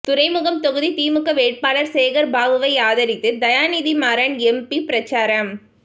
துறைமுகம் தொகுதி திமுக வேட்பாளர் சேகர் பாபுவை ஆதரித்து தயாநிதி மாறன் எம்பி பிரசாரம்